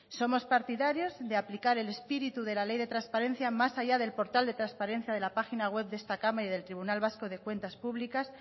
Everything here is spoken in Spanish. somos partidarios de aplicar el espíritu de la ley de transparencia más allá del portal de transparencia de la página web de esta cámara y del tribunal vasco de cuentas públicas